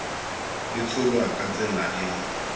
e tsholwa ka tsela e